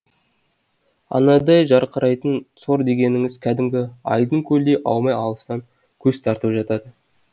айнадай жарқырайтын сор дегеніңіз кәдімгі айдын көлден аумай алыстан көз тартып жатады